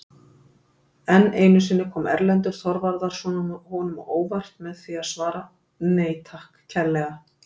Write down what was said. Enn einu sinni kom Erlendur Þorvarðarson honum á óvart með því að svara:-Nei takk kærlega!